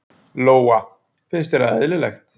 Lóa: Finnst þér það eðlilegt?